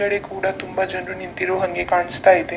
ಕೂಡ ತುಂಬಾ ಜನರು ನಿಂತಿರುವ ಹಂಗೆ ಕಾಣಿಸ್ತಾ ಇದೆ.